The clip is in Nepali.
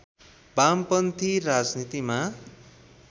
वामपन्थी राजनीतिमा